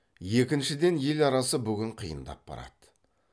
екіншіден ел арасы бүгін қиындап барады